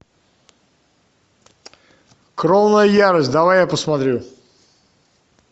кровная ярость давай я посмотрю